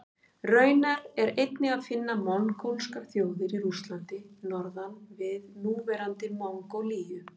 Raunar er einnig að finna mongólskar þjóðir í Rússlandi norðan við núverandi Mongólíu.